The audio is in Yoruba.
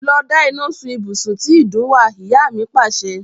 Lọ da iná sun ibùsùn tí ìdun wà! Ìyá mi Pàṣẹ.